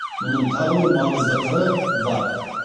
мұның тағы бір маңызды қыры бар